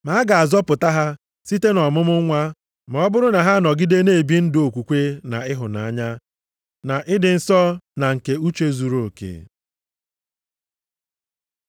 Ma a ga-azọpụta ha site nʼọmụmụ nwa ma ọ bụrụ na ha anọgide na-ebi ndụ okwukwe na ịhụnanya, na ịdị nsọ, na nke uche zuruoke.